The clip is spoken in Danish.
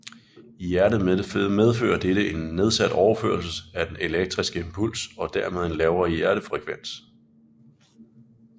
I hjertet medfører dette en nedsat overførsel af den elektriske impuls og dermed en lavere hjertefrekvens